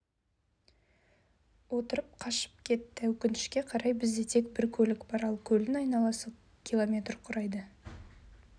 отырып қашып кетті өкінішке қарай бізде тек бір көлік бар ал көлдің айналасы км құрайды